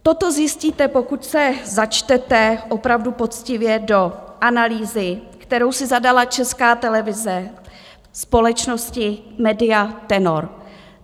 Toto zjistíte, pokud se začtete opravdu poctivě do analýzy, kterou si zadala Česká televize společnosti Media Tenor.